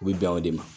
U bɛ bɛn o de ma